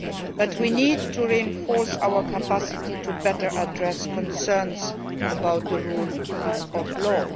But we need to reinforce our capacity to better address concerns about the rule of law.